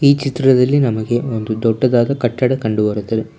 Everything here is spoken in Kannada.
ಈ ಚಿತ್ರದಲ್ಲಿ ನಮಗೆ ಒಂದು ದೊಡ್ಡದಾದ ಕಟ್ಟಡ ಕಂಡು ಬರುತ್ತದೆ.